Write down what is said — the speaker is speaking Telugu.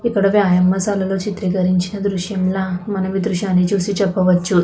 ఇక్కడ వ్యాయామశాలలో చిత్రీకరించిన దృశ్యంలా మనం ఈ దృశ్యాన్ని చూసి చెప్పవచ్చు.